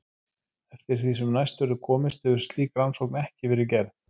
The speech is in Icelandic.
Eftir því sem næst verður komist hefur slík rannsókn ekki verið gerð.